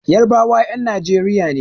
Yarbawa 'yan Nijeriya ne.